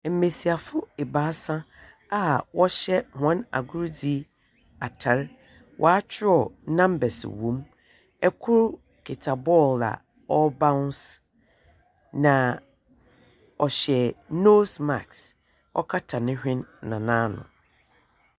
Mbiasiafo ebaasa a wɔhyɛ wɔn agordzi atar watwerɛw nambas wɔ mu ɛkor kitsa bɔɔl a ɔbaons na ɔhyɛ nos mask ɔkata ne hwen na naano.